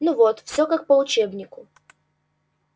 ну вот всё как по учебнику